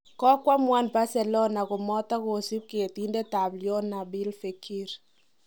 Kokwamuan Barcelona komotogosiib getindet ab Lyon Nabil Fekir.